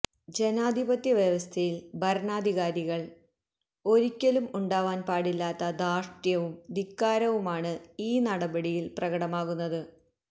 ജനാധിപത്യവ്യവസ്ഥയില് ഭരണാധികാരിക്ക് ഒരിക്കലും ഉണ്ടാവാന് പാടില്ലാത്ത ധാര്ഷ്ട്യവും ധിക്കാരവുമാണ് ഈ നടപടിയില് പ്രകടമാകുന്നത്